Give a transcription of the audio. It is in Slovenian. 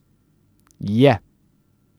Je.